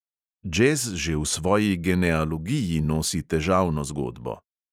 Džez že v svoji genealogiji nosi težavno zgodbo.